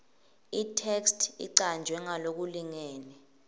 itheksthi icanjwe ngalokulingene